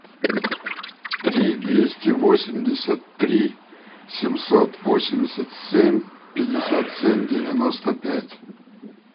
три двести восемьдесят три семьсот восемьдесят семь пятьдесят семь девяносто пять